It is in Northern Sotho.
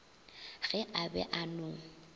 ge a be a no